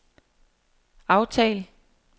aftal